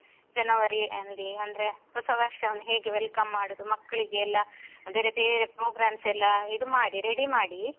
ಜನವರಿಯಲ್ಲಿ ಅಂದ್ರೆ ಹೊಸವರ್ಷವನ್ನು ಹೇಗೆ welcome ಮಾಡುದು ಮಕ್ಲಿಗೆಲ್ಲ ಬೇರೆ ಬೇರೆ programs ಎಲ್ಲ ಇದು ಮಾಡಿ ready ಮಾಡಿ.